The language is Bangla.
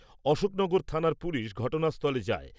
অশোকনগর থানার পুলিশ ঘটনাস্থলে যায়।